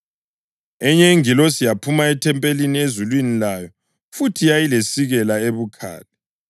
Enye ingilosi yaphuma ethempelini ezulwini layo futhi yayilesikela ebukhali.